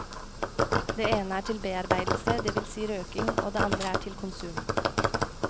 Det ene er til bearbeidelse, det vil si røking og det andre er til konsum.